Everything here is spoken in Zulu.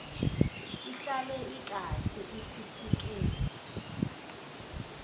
ihlale ikahle ikhuphuke